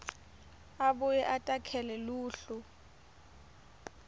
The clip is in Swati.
abuye atakhele luhlu